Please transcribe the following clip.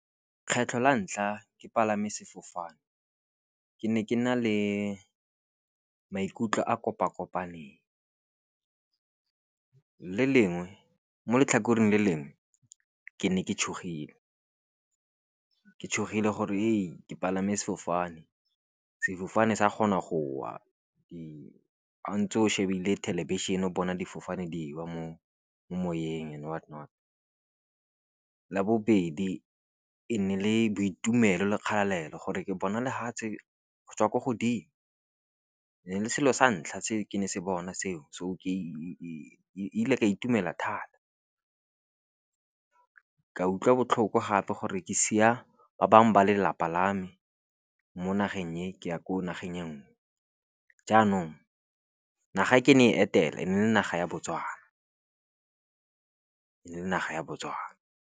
Kgetlho la ntlha ke palame sefofane ke ne ke na le maikutlo a kopakopaneng. Mo letlhakoreng le lengwe ke ne ke tshogile, ke tshogile gore ke palame sefofane. Sefofane sa kgona go wa, ga ntse o shebile thelebišhene o bona difofane di wa mo moyeng and whatnot. La bobedi e ne le boitumelo le kgalelo gore ke bona lefatshe go tswa ko godimo. Ne le selo sa ntlha se ke se bona seo so kile ka itumela thata. Ka utlwa botlhoko gape gore ke sia ba bangwe ba lelapa la me mo nageng e, ke ya ko nageng ya nngwe. Jaanong naga e ke ne e etela ne e le naga ya Botswana.